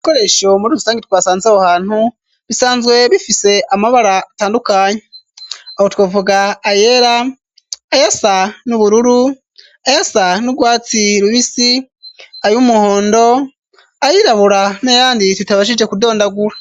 Ibikoresho muri ubusange twasanze ho hantu bisanzwe bifise amabara atandukanye aho twavuga ayera ,ayasa n'ubururu ,ayasa n'ugwatsi rubisi ,ay'umuhondo ,ayirabura n’ayandi tutabashije kudondagura.